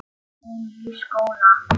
Hún í skóla.